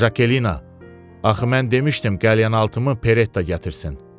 Jakelina, axı mən demişdim qəlyanaltımı Peretta gətirsin.